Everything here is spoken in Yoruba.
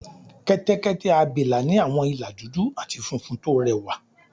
Kẹ́tẹ́kẹ́tẹ́ abìlà ní àwọn ìlà dúdú àti funfun tó rẹwà